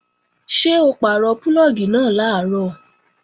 Ṣé o pàrọ̀ púlọ̀gì náà làárọ̀?